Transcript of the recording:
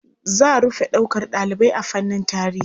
Za rufe ɗaukar ɗalibai a fannin tarihi.